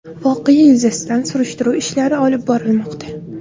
Voqea yuzasidan surishtiruv ishlari olib borilmoqda.